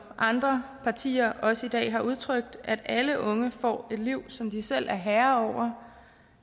andre partier også i dag har udtrykt at alle unge får et liv som de selv er herre